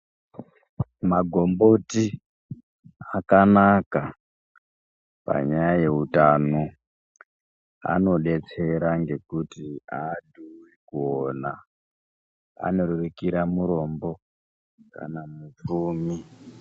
Magomboti akanaka panyaya yeutano anodetsera ngekuti adhuri kuona anorerukira murombo kana mupfumi.